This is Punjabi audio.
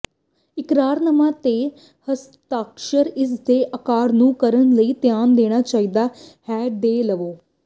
ਇਕਰਾਰਨਾਮਾ ਤੇ ਹਸਤਾਖਰ ਇਸ ਦੇ ਆਕਾਰ ਨੂੰ ਕਰਨ ਲਈ ਧਿਆਨ ਦੇਣਾ ਚਾਹੀਦਾ ਹੈ ਦੇ ਵੇਲੇ